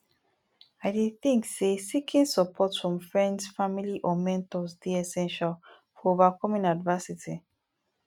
i dey think say seeking support from friends family or mentors dey essential for overcoming adversity